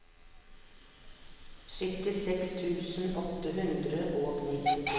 syttiseks tusen åtte hundre og nittito